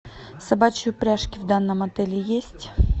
собачьи упряжки в данном отеле есть